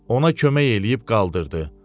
Ona kömək eləyib qaldırdı.